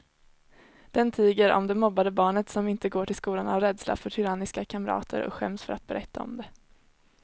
Den tiger om det mobbade barnet som inte går till skolan av rädsla för tyranniska kamrater och skäms för att berätta om det.